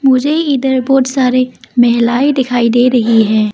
मुझे इधर बहुत सारि महिलाएं दिखाई दे रही है।